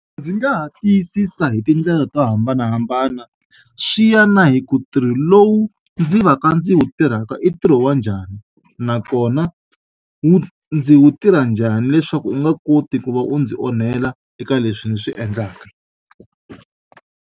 Ndzi nga ha tiyisisa hi tindlela to hambanahambana swi ya na hi ku ntirho lowu ndzi va ka ndzi wu tirhaka i ntirho wa njhani nakona wu ndzi wu tirha njhani leswaku wu nga koti ku va wu ndzi onhela eka leswi ndzi swi endlaka.